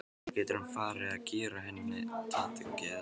Ekki getur hann farið að gera henni það til geðs?